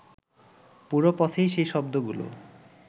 পুরো পথেই সেই শব্দগুলো